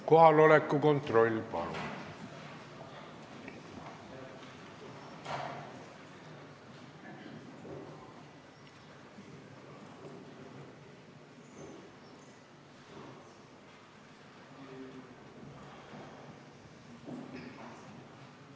Kohaloleku kontroll, palun!